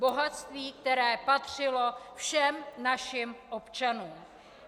Bohatství, které patřilo všem našim občanům.